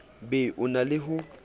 be o na le ho